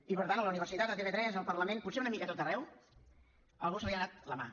i per tant a la universitat a tv3 al parlament potser una mica a tot arreu a algú se li n’ha anat la mà